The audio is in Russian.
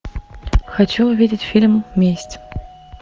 хочу увидеть фильм месть